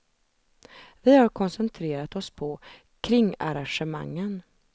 Vi har koncentrerat oss på kringarrangemangen.